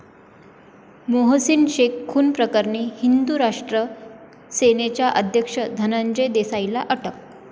मोहसीन शेख खून प्रकरणी हिंदू राष्ट्र सेनेचा अध्यक्ष धनंजय देसाईला अटक